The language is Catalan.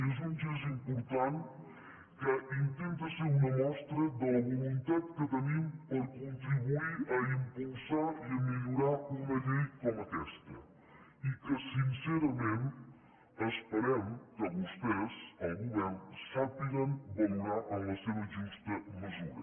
és un gest important que intenta ser una mostra de la voluntat que tenim per contribuir a impulsar i a millorar una llei com aquesta i que sincerament esperem que vostès el govern sàpiguen valorar en la seva justa mesura